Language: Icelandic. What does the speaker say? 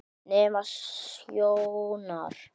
Næmni sjónar